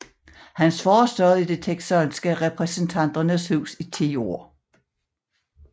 Hans far sad i det texanske repræsentanternes hus i 10 år